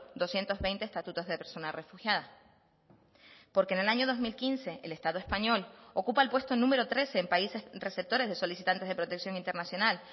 doscientos veinte estatutos de persona refugiada porque en el año dos mil quince el estado español ocupa el puesto número trece en países receptores de solicitantes de protección internacional